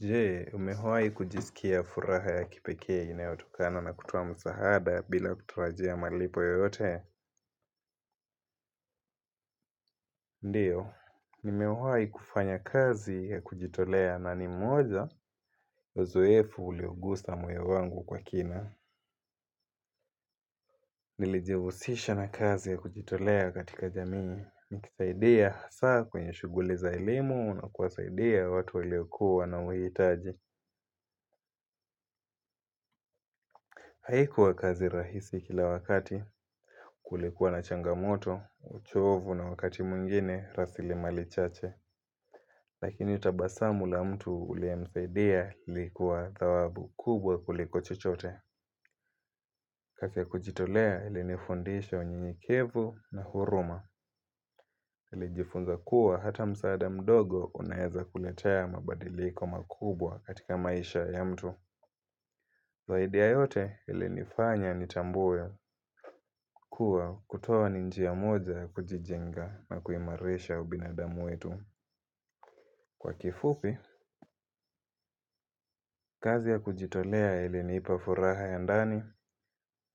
Je, umewahi kujisikia furaha ya kipekee inayotokana na kutoa msahada bila kutarajia malipo yoyote? Ndiyo, nimewahi kufanya kazi ya kujitolea na ni moja, uzoefu uliogusa moyo wangu kwa kina. Nilijihusisha na kazi ya kujitolea katika jamii. Nikisaidia hasa kwenye shuguli za elimu na kuwasaidia watu waliokua na uhitaji. Haikuwa kazi rahisi kila wakati kulikuwa na changamoto, uchovu na wakati mwingine rasilimali chache. Lakini tabasamu la mtu uliyemsaidia ilikuwa dhawabu kubwa kuliko chochote. Kazi ya kujitolea ilini fundisha unyenyekevu na huruma nilijifunza kuwa hata msaada mdogo unaeza kuletea mabadiliko makubwa katika maisha ya mtu zaidi ya yote ilinifanya nitambue kuwa kutoa ni njia moja kujijenga na kuimarisha ubinadamu wetu. Kwa kifupi, kazi ya kujitolea ilinipa furaha ya ndani,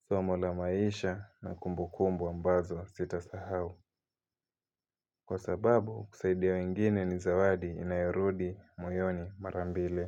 somo la maisha na kumbu kumbu ambazo sita sahau. Kwa sababu, kusaidia wengine ni zawadi inayorudi moyoni marambili.